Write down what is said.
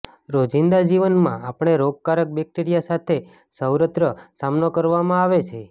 રોજિંદા જીવનમાં આપણે રોગકારક બેક્ટેરિયા સાથે સર્વત્ર સામનો કરવામાં આવે છે